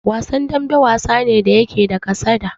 Wasan dambe, wasa ne da yake da kasada.